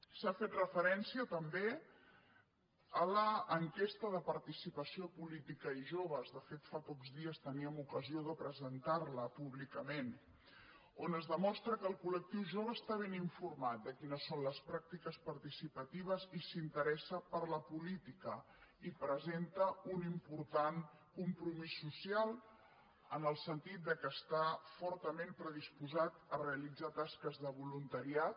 s’ha fet referència també a l’enquesta de participació política i joves de fet fa pocs dies teníem ocasió de presentar la públicament on es demostra que el collectiu jove està ben informat de quines són les pràctiques participatives i s’interessa per la política i presenta un important compromís social en el sentit que està fortament predisposat a realitzar tasques de voluntariat